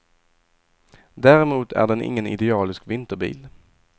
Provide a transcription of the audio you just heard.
Däremot är den ingen idealisk vinterbil.